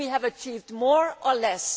Would we have achieved more or less?